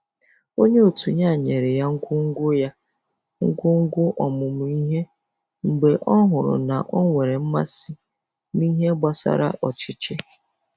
Onye otu ya nyere ya ngwo ngwo ya ngwo ngwo ọmụmụ ihe mgbe ọ hụrụ na o nwere mmasị n'ihe gbasara ọchịchị